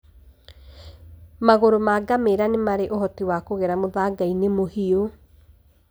Magũrũ ma ngamĩra nĩ marĩ ũhoti wa kũgera mũthanga-inĩ mũhiũ.